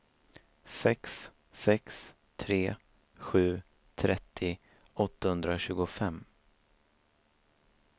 sex sex tre sju trettio åttahundratjugofem